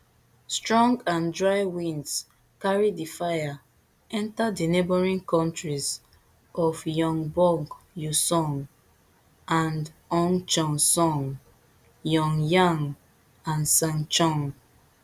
strong and dry winds carry di fire enta di neighbouring counties of gyeongbuk uiseong andong cheongsong yeongyang and sancheong